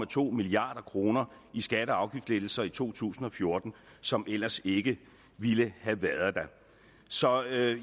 to milliard kroner i skatte og afgiftslettelser i to tusind og fjorten som ellers ikke ville have været der så